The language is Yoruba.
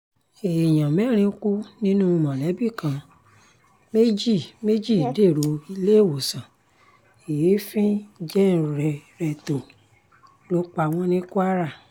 èèyàn mẹ́rin kú nínú mọ̀lẹ́bí kan méjì méjì dèrò iléewòsàn èéfín jẹnrérétò ló pa wọ́n ní kwara